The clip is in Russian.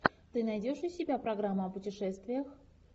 ты найдешь у себя программу о путешествиях